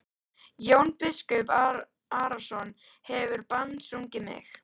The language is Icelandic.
Jón biskup Arason hefur bannsungið mig.